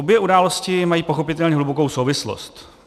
Obě události mají pochopitelně hlubokou souvislost.